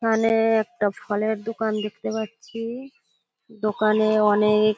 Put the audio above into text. এখানে একটা ফলের দোকান দেখতে পাচ্ছি। দোকানে অনেক --